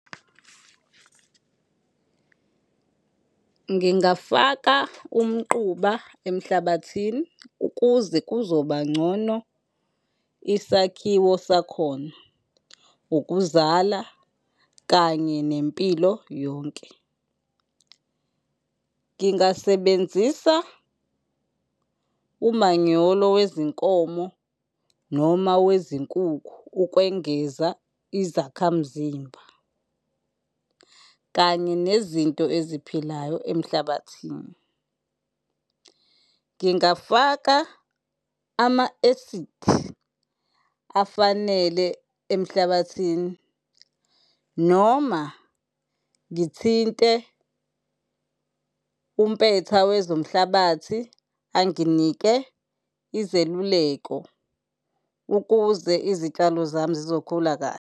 Ngingafaka umquba emhlabathini ukuze kuzoba ngcono isakhiwo sakhona, ukuzala kanye nempilo yonke. Ngingasebenzisa umanyolo wezinkomo noma wezinkukhu ukwengeza izakhamzimba kanye nezinto eziphilayo emhlabathini. Ngingafaka ama-acid afanele emhlabathini noma ngithinte umpetha wezomhlabathi anginike izeluleko ukuze izitshalo zami zizokhula kahle.